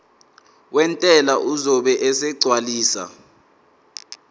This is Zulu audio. wentela uzobe esegcwalisa